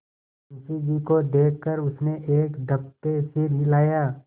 मुंशी जी को देख कर उसने एक दफे सिर हिलाया